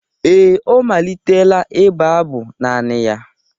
Ee, ọ malitela ịbụ abụ naanị ya